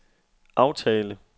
aftale